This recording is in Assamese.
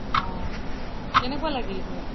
অহ কেনেকোৱা লাগিল গৈ